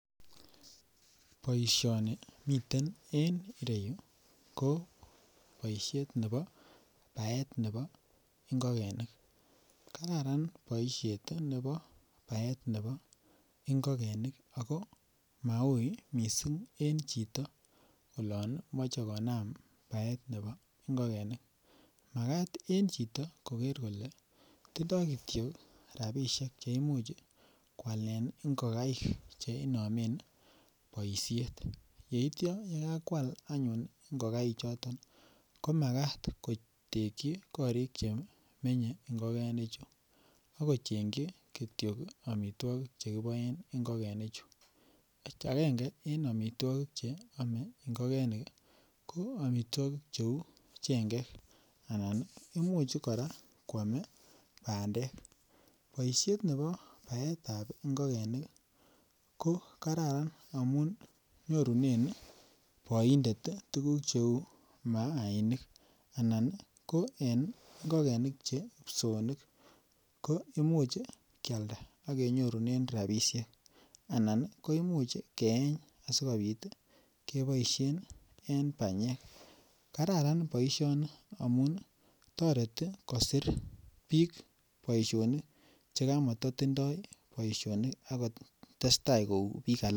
Boisioni miten en ireyu ko boishet nebo baet nebo ngogenik kararan boishet nebo baet nebo ngogenik ako mauu missing en chito olon moche konam baet nebo ngogenik makat en chito koger kolee tindo kityo rabishek che imuch kwalen ngogaik che inomen boishet yeityo ye kakwal anyun ngogaik choton ko makat ko tekyi korik che menye ngogenichu ak kochengyi kityo omitwokik che kiboen ngogenichu. Angenge en omitwokik che ome ngogenik ko omitwokik che uu cheng'ek anan imuch koraa kwome bandek, boishet nebo baetab ngogenik ii ko Kararan amun nyorunen boindet ii tuguk che uu maainik anan en ngogenik che psoonik ko imuch kyalda ak kenyorunen rabishek anan koimuch keeny asikopit keboishen en banyek, kararan boishoni amun ii toreti kosir biik boisionik che komoto tindo boisionik ak ko testai ko uu biik alak